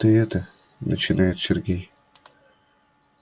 ты это начинает сергей